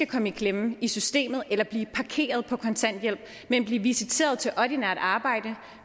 kommer i klemme i systemet eller blive parkeret på kontanthjælp men blive visiteret til ordinært arbejde